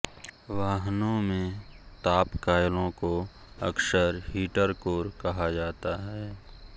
वाहनों में ताप कॉयलों को अक्सर हीटर कोर कहा जाता है